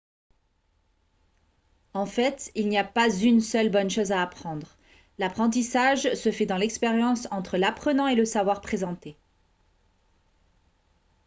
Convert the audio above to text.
en fait il n'y a pas une seule bonne chose à apprendre l'apprentissage se fait dans l'expérience entre l'apprenant et le savoir présenté